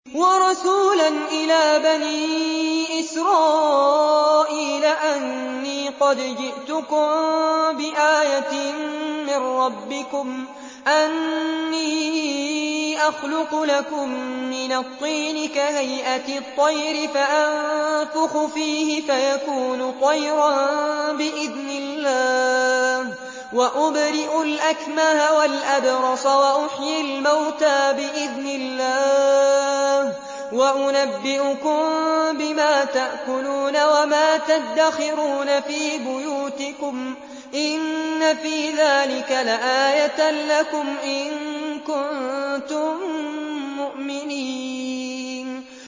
وَرَسُولًا إِلَىٰ بَنِي إِسْرَائِيلَ أَنِّي قَدْ جِئْتُكُم بِآيَةٍ مِّن رَّبِّكُمْ ۖ أَنِّي أَخْلُقُ لَكُم مِّنَ الطِّينِ كَهَيْئَةِ الطَّيْرِ فَأَنفُخُ فِيهِ فَيَكُونُ طَيْرًا بِإِذْنِ اللَّهِ ۖ وَأُبْرِئُ الْأَكْمَهَ وَالْأَبْرَصَ وَأُحْيِي الْمَوْتَىٰ بِإِذْنِ اللَّهِ ۖ وَأُنَبِّئُكُم بِمَا تَأْكُلُونَ وَمَا تَدَّخِرُونَ فِي بُيُوتِكُمْ ۚ إِنَّ فِي ذَٰلِكَ لَآيَةً لَّكُمْ إِن كُنتُم مُّؤْمِنِينَ